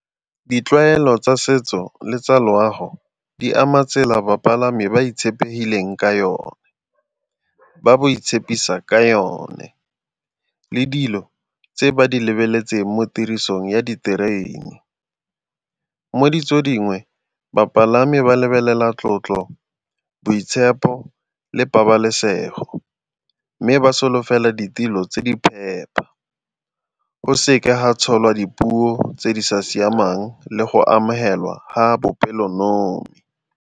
Ditlwaelo tsa setso le tsa loago di ama tsela bapalami ba itshepegileng ka yone, ba bo itshepisa ka yone le dilo tse ba di lebeletseng mo tirisong ya diterene. Mo ditso dingwe bapalami ba lebelela tlotlo, boitshepo le pabalesego mme ba solofela ditilo tse di phepa, go seke ga tsholwa dipuo tse di sa siamang le go amogelwa ga bopelonomi.